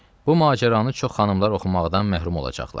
Bu macəranı çox xanımlar oxumaqdan məhrum olacaqlar.